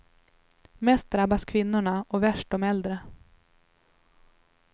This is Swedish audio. Mest drabbas kvinnorna, och värst de äldre.